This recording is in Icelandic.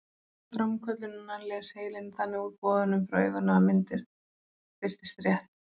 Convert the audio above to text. Við framköllunina les heilinn þannig úr boðunum frá auganu að myndin birtist rétt.